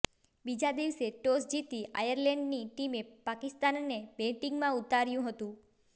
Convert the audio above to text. બીજા દિવસે ટોસ જીતી આયરલેન્ડની ટીમે પાકિસ્તાનને બેટિંગમાં ઊતાર્યું હતું